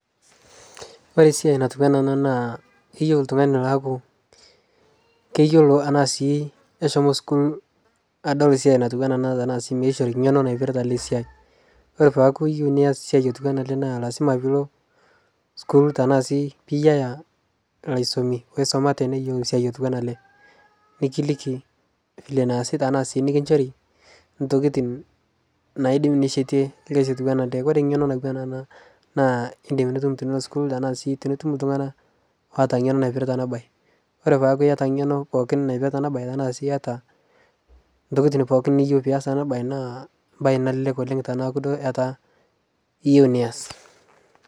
kore siai natuwana ana naa keyeu ltungani loaku keyolo anaa sii keshomo sukuul adol siai natuwanaa ana tanaa sii neishori ngeno naipirita ale siai kore peaku iyeu niaz siai otuwana alee naa lazima piilo sukuul tanaa sii piiyaa laisomi loisomate neyolou siai otuwana alee nikiliki vile neasi tanaa sii nikinshorii ntokitin naidim nishetie lkazi otuwana laee kore ngenoo natuwana anaa naa indim nitum tinilo sukuul tanaa sii tinitum ltungana loata ngeno naipirita anaa bai kore peaku iata ngeno pookin naipirita anaa bai tanaa sii iata ntokitin pooki niata pias ana bai naa mbai nalelek oleng tanaaku duo etaa iyeu niaz